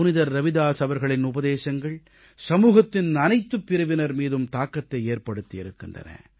புனிதர் ரவிதாஸ் அவர்களின் உபதேசங்கள் சமூகத்தின் அனைத்துப் பிரிவினர் மீதும் தாக்கத்தை ஏற்படுத்தியிருக்கின்றன